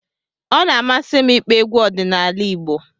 Ọ na-amasị m ịkpọ egwu ọdịnala Igbo